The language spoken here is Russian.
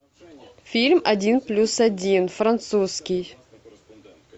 фильм один плюс один французский